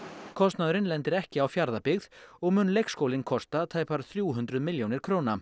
kostnaðurinn lendir ekki á Fjarðabyggð og mun leikskólinn kosta tæpar þrjú hundruð milljónir